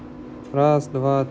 раз два